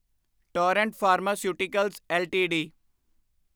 Torrent pharmaceuticals LTD